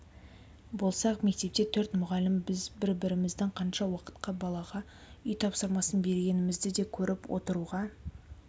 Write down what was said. болсақ мектепте төрт мұғалім біз бір-біріміздің қанша уақытқа балаға үй тапсырмасын бергенімізді де көріп отыруға